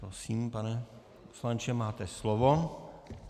Prosím, pane poslanče, máte slovo.